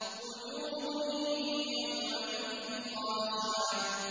وُجُوهٌ يَوْمَئِذٍ خَاشِعَةٌ